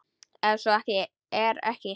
Og ef svo er ekki?